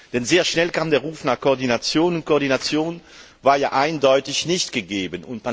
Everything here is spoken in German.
Denn sehr schnell kam der Ruf nach Koordination und diese war ja eindeutig nicht gegeben.